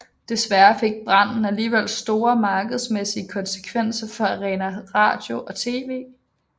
Desværre fik branden alligevel store markedsmæssige konsekvenser for Arena Radio og TV